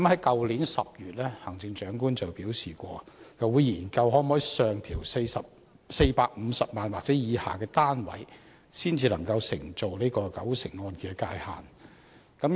去年10月，行政長官表示會研究能否上調450萬元或以下單位才能承做九成按揭的界線。